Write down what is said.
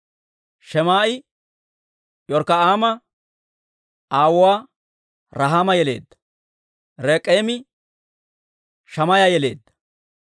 Shemaa'i York'k'a'aama aawuwaa Rahaama yeleedda. Rek'eemi Shammaaya yeleedda.